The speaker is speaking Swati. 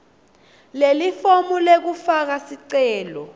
lelifomu lekufaka sicelo